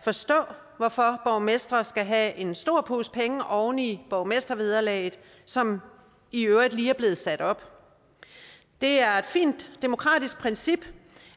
forstå hvorfor borgmestre skal have en stor pose penge oven i borgmestervederlaget som i øvrigt lige er blevet sat op det er et fint demokratisk princip